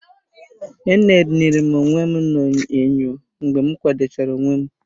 Enenere m onwe m na-enyo mgbe m kwado chara onwe m.